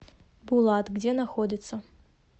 булат где находится